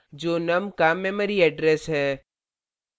यह num का memory address है